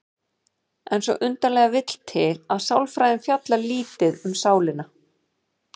En svo undarlega vill til að sálfræðin fjallar lítið um sálina.